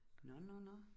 Nåh nåh nåh